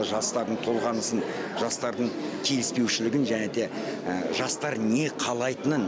жастардың толғанысын жастардың келіспеушілігін және де жастар не қалайтынын